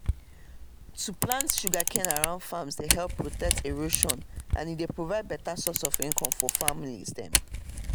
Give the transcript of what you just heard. to plant sugercane around farms dey help prevent erosion and e dey provide beta source of income for families dem